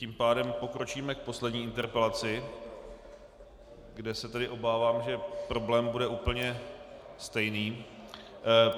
Tím pádem pokročíme k poslední interpelaci, kde se tedy obávám, že problém bude úplně stejný.